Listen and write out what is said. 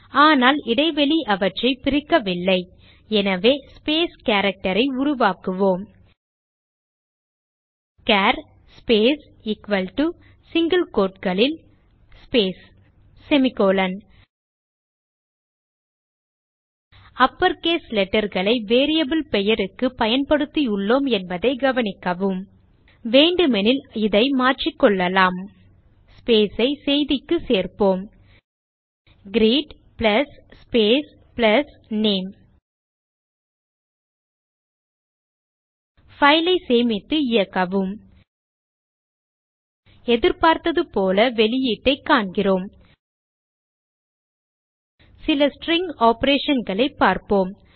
ஆனால் இடைவெளி அவற்றை பிரிக்கவில்லை எனவே ஸ்பேஸ் character ஐ உருவாக்குவோம் char space equal to single quotes னுள் ஸ்பேஸ் அப்பர்கேஸ் letterகளை வேரியபிள் பெயருக்கு பயன்படுத்தியுள்ளேன் என்பதை கவனிக்கவும் வேண்டுமெனில் இதை மாற்றிகொள்ளலாம் space ஐ செய்திக்கு சேர்ப்போம் greet plus space plus name file ஐ சேமித்து இயக்கவும் எதிர்பார்த்துபோல வெளியீடைக் காண்கிறோம் சில ஸ்ட்ரிங் operationகளை பார்ப்போம்